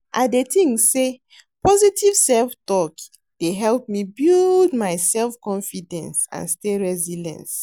I dey think say positive self-talk dey help me build my self-confidence and stay resilience.